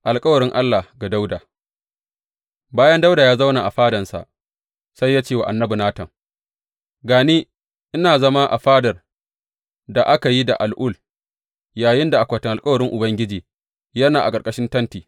Alkawarin Allah ga Dawuda Bayan Dawuda ya zauna a fadansa, sai ya ce wa annabi Natan, Ga ni, ina zama a fadar da aka yi da al’ul, yayinda akwatin alkawarin Ubangiji yana a ƙarƙashin tenti.